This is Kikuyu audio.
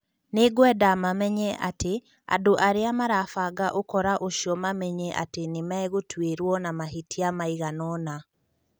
" Nĩ ngwenda mamenye atĩ andũ arĩa marabanga ũkora ũcio mamenye atĩ nĩ megũtuĩrwo na mahĩtia maigana-ona,"